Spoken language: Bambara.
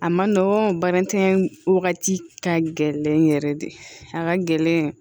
A man nɔgɔn baara wagati ka gɛlɛn yɛrɛ de a ka gɛlɛn